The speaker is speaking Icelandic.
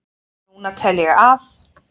Núna tel ég að